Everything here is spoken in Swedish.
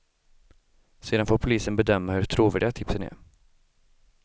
Sedan får polisen bedöma hur trovärdiga tipsen är.